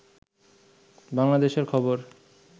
বাংলাদেশের খবর